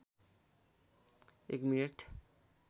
एक मिनेट